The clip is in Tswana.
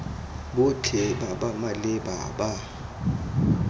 botlhe ba ba maleba ba